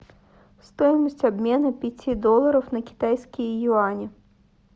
стоимость обмена пяти долларов на китайские юани